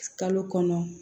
Kalo kɔnɔ